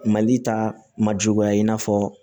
Mali ta ma juguya in'a fɔ